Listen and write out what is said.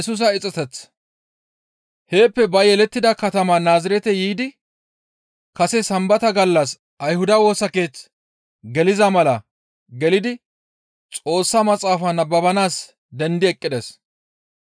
Heeppe ba yelettida katama Naazirete yiidi kase Sambata gallas Ayhuda Woosa Keeth geliza mala gelidi Xoossa Maxaafa nababanaas dendi eqqides.